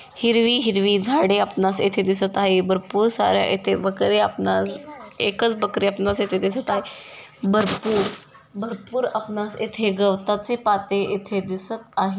हिरवी हिरवी झाडे आपणास येथे दिसत आहे भरपूर सार्‍या येथे बकर्‍या आपणाल एकच बकरी आपणास येथे दिसत आहे. भरपूर भरपूर आपणास येथे गवताचे पाते येथे दिसत आहे.